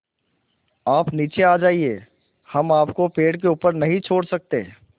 आप नीचे आ जाइये हम आपको पेड़ के ऊपर नहीं छोड़ सकते